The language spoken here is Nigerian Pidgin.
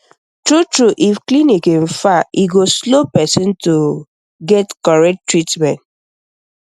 true true if clinic um far e go slow person to um get correct um treatment